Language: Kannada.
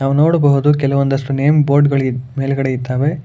ನಾವು ನೋಡಬಹುದು ಕೆಲವಂದಿಸ್ಟು ನೇಮ್ ಬೋರ್ಡ್ ಗಳಿ ಮೇಲ್ಗಡೆ ಇದ್ದಾವೆ.